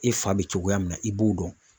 E fa bɛ cogoya min na i b'o dɔn.